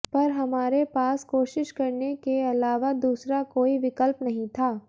पर हमारे पास कोशिश करने के अलावा दूसरा कोई विकल्प नहीं था